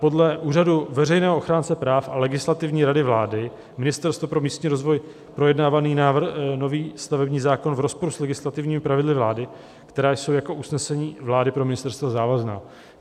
Podle úřadu veřejného ochránce práv a Legislativní rady vlády Ministerstvo pro místní rozvoj projednávaný nový stavební zákon v rozporu s legislativními pravidly vlády, která jsou jako usnesení vlády pro ministerstvo závazná."